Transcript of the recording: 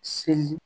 Seli